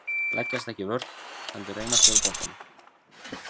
Leggjast ekki í vörn heldur reyna að spila boltanum.